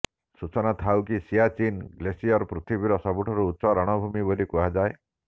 ସୂଚନାଥାଉ କି ସିଆଚୀନ୍ ଗ୍ଲାସିୟର ପୃଥିବୀର ସବୁଠାରୁ ଉଚ୍ଚ ରଣଭୂମି ବୋଲି କୁହାଯାଏ